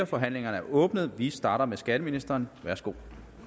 forhandlingen er åbnet vi starter med skatteministeren værsgo